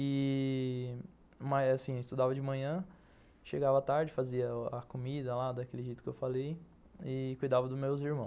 E... Estudava de manhã, chegava tarde, fazia a comida lá daquele jeito que eu falei e cuidava dos meus irmãos.